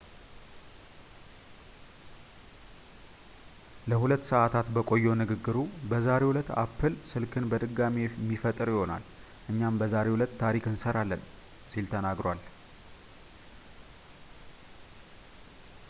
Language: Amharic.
ለ2 ሰዐታት በቆየው ንግግሩ በዛሬው ዕለት apple ስልክን በድጋሚ የሚፈጥር ይሆናል እኛም በዛሬው ዕለት ታሪክ እንሰራለን ሲል ተናግሯል